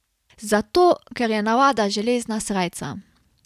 Zato, ker je navada železna srajca.